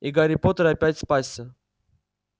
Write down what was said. и гарри поттер опять спасся